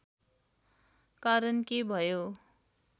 कारण के भयो